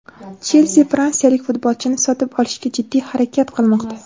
"Chelsi" fransiyalik futbolchini sotib olishga jiddiy harakat qilmoqda.